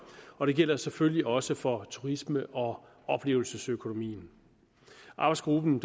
og det gælder selvfølgelig også for turisme og oplevelsesøkonomien arbejdsgruppen